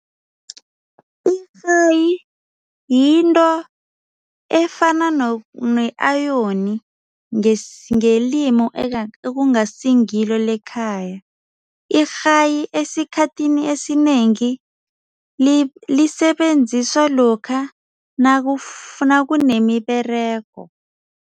Irhayi yinto efana ne-ayoni ngelimu ekungasiliyo le ekhaya. Irhayi esikhathini esinengi lisebenziswa lokha nakunemiberego.